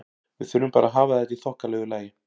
Við þurfum bara að hafa þetta í þokkalegu lagi.